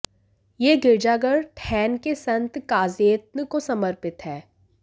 ये गिरजाघर ठैन के संत काजेत्न को समरपित है